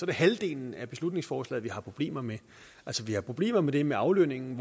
det halvdelen af beslutningsforslaget vi har problemer med vi har problemer med det med aflønningen